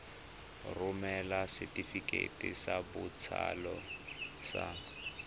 romela setefikeiti sa botsalo sa